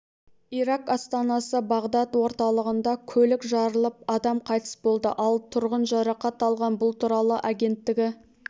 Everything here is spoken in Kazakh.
ирак астанасы бағдад орталығында көлік жарылып адам қайтыс болды ал тұрғын жарақат алған бұл туралы агенттігі